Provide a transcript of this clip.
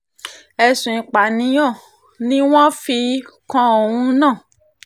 ẹ̀sùn ìpànìyàn ni wọ́n fi um kan òun náà